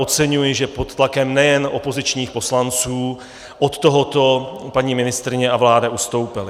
Oceňuji, že pod tlakem nejen opozičních poslanců od tohoto paní ministryně a vláda ustoupily.